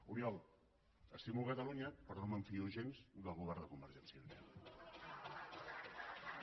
oriol estimo cata lunya però no em fio gens del govern de convergència i unió